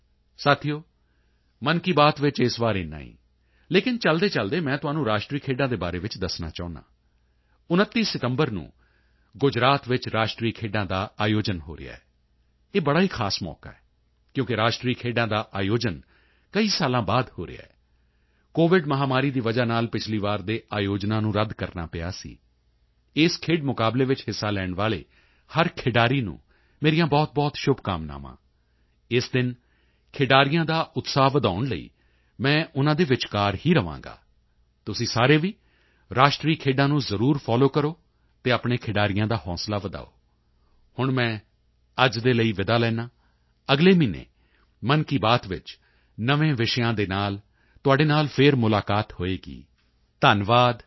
ਸਾਥੀਓ ਮਨ ਕੀ ਬਾਤ ਵਿੱਚ ਇਸ ਵਾਰੀ ਏਨਾ ਹੀ ਲੇਕਿਨ ਚਲਦੇਚਲਦੇ ਮੈਂ ਤੁਹਾਨੂੰ ਰਾਸ਼ਟਰੀ ਖੇਡਾਂ ਦੇ ਬਾਰੇ ਵਿੱਚ ਵੀ ਦੱਸਣਾ ਚਾਹੁੰਦਾ ਹਾਂ 29 ਸਤੰਬਰ ਨੂੰ ਗੁਜਰਾਤ ਵਿੱਚ ਰਾਸ਼ਟਰੀ ਖੇਡਾਂ ਦਾ ਆਯੋਜਨ ਹੋ ਰਿਹਾ ਹੈ ਇਹ ਬੜਾ ਹੀ ਖਾਸ ਮੌਕਾ ਹੈ ਕਿਉਂਕਿ ਰਾਸ਼ਟਰੀ ਖੇਡਾਂ ਦਾ ਆਯੋਜਨ ਕਈ ਸਾਲਾਂ ਬਾਅਦ ਹੋ ਰਿਹਾ ਹੈ ਕੋਵਿਡ ਮਹਾਮਾਰੀ ਦੀ ਵਜ੍ਹਾ ਨਾਲ ਪਿਛਲੀ ਵਾਰ ਦੇ ਆਯੋਜਨਾਂ ਨੂੰ ਰੱਦ ਕਰਨਾ ਪਿਆ ਸੀ ਇਸ ਖੇਡ ਮੁਕਾਬਲੇ ਵਿੱਚ ਹਿੱਸਾ ਲੈਣ ਵਾਲੇ ਹਰ ਖਿਡਾਰੀ ਨੂੰ ਮੇਰੀਆਂ ਬਹੁਤਬਹੁਤ ਸ਼ੁਭਕਾਮਨਾਵਾਂ ਇਸ ਦਿਨ ਖਿਡਾਰੀਆਂ ਦਾ ਉਤਸ਼ਾਹ ਵਧਾਉਣ ਲਈ ਮੈਂ ਉਨ੍ਹਾਂ ਦੇ ਵਿਚਕਾਰ ਹੀ ਰਹਾਂਗਾ ਤੁਸੀਂ ਸਾਰੇ ਵੀ ਰਾਸ਼ਟਰੀ ਖੇਡਾਂ ਨੂੰ ਜ਼ਰੂਰ ਫਾਲੋ ਕਰੋ ਅਤੇ ਆਪਣੇ ਖਿਡਾਰੀਆਂ ਦਾ ਹੌਸਲਾ ਵਧਾਓ ਹੁਣ ਮੈਂ ਅੱਜ ਦੇ ਲਈ ਵਿਦਾ ਲੈਂਦਾ ਹਾਂ ਅਗਲੇ ਮਹੀਨੇ ਮਨ ਕੀ ਬਾਤ ਵਿੱਚ ਨਵੇਂ ਵਿਸ਼ਿਆਂ ਦੇ ਨਾਲ ਤੁਹਾਡੇ ਨਾਲ ਫਿਰ ਮੁਲਾਕਾਤ ਹੋਵੇਗੀ ਧੰਨਵਾਦ ਨਮਸਕਾਰ